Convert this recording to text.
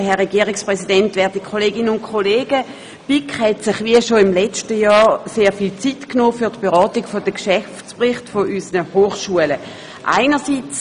Kommissionspräsidentin der BiK.Die BiK hat sich wie schon im vergangenen Jahr sehr viel Zeit für die Beratung der Geschäftsberichte unserer Hochschulen genommen.